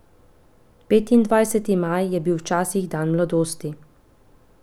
Petindvajseti maj je bil včasih dan mladosti.